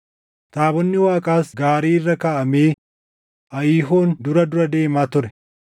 taabonni Waaqaas gaarii irra kaaʼamee Ahiiyoon dura dura deema ture.